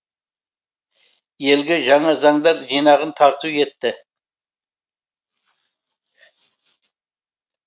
елге жаңа заңдар жинағын тарту етті